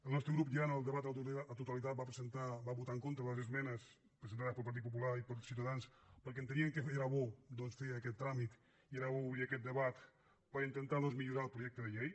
el nostre grup ja en el debat a la totalitat va votar en contra a les esmenes presentades pel partit popular i per ciutadans perquè enteníem que era bo doncs fer aquest tràmit i era bo obrir aquest debat per intentar millorar el projecte de llei